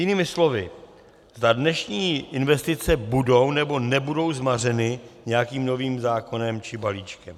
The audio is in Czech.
Jinými slovy, zda dnešní investice budou, nebo nebudou zmařeny nějakým novým zákonem či balíčkem.